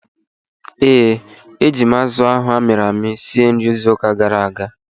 Ee, eji m azụ ahụ amịrị amị sie nri izu ụka gara aga